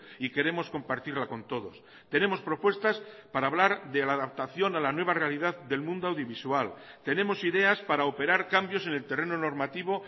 y queremos compartirla con todos tenemos propuestas para hablar de la adaptación a la nueva realidad del mundo audiovisual tenemos ideas para operar cambios en el terreno normativo